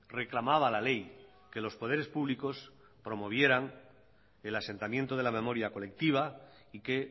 reclamaba la ley que los poderes públicos promovieran el asentamiento de la memoria colectiva y que